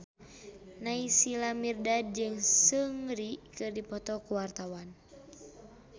Naysila Mirdad jeung Seungri keur dipoto ku wartawan